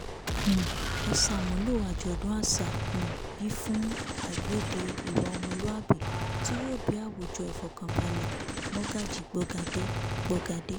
um ẹ ṣàmúlò àjọ̀dún àṣà um yìí fún àgbèdè ìwà ọmọlúàbí tí yóò bí àwùjọ ìfọ̀kànbalẹ̀mọ́gájí gbọ̀gádé gbọ̀gádé